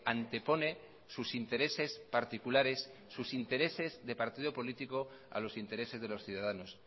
antepone sus intereses particulares sus intereses de partido político a los intereses de los ciudadanos